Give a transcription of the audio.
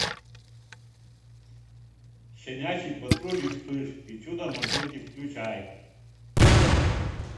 щенячий патруль и вспыш и чудо машинки включай